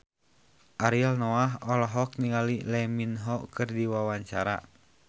Ariel Noah olohok ningali Lee Min Ho keur diwawancara